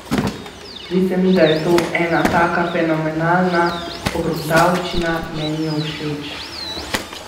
Zdi se mi, da je to ena taka fenomenalna pogruntavščina, meni je všeč.